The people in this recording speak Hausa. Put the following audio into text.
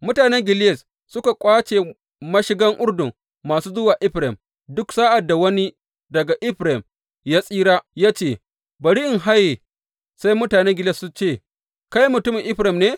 Mutanen Gileyad suka ƙwace mashigan Urdun masu zuwa Efraim, duk sa’ad da wani daga Efraim da ya tsira ya ce, Bari in haye, sai mutane Gileyad su ce Kai mutumin Efraim ne?